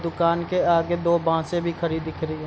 दुकान के आगे दो बांसें भी खड़ी दिख रही है।